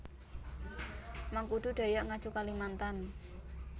Mangkudu Dayak Ngaju Kalimantan